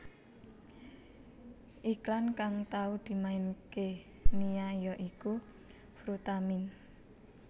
Iklan kang tau dimainaké Nia ya iku Frutamin